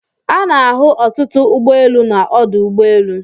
Ana-ahụ ọtụtụ ụgbọ elu na ọdụ ụgbọ elu